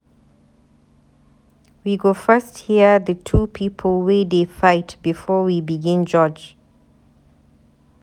We go first hear di two people wey dey fight before we begin judge.